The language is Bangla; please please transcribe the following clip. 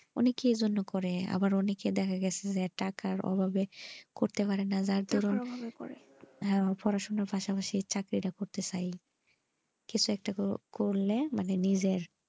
অনেকে এর জন্য করে আবার অনেকের দেখা গেছে টাকা অভাবে পড়তে পারেনা যার দরুন পড়াশোনার পাশাপাশি চাকরিটা করতে চাই কিছু একটা করলে মানে নিজের,